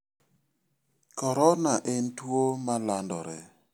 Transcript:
Korona en tuo malandore.